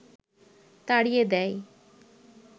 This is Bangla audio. তাড়িয়ে দেয়